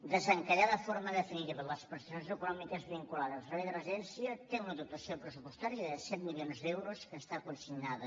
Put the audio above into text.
desencallar de forma definitiva les prestacions econòmiques vinculades al servei de residència té una dotació pressupostària de set milions d’euros que està consignada